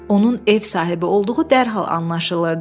Onun ev sahibi olduğu dərhal anlaşılırdı.